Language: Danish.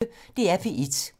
DR P1